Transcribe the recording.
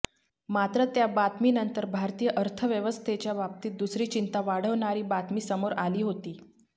मात्र त्या बातमीनंतर भारतीय अर्थव्यवस्थेच्या बाबतीत दुसरी चिंता वाढवणारी बातमी समोर आली होती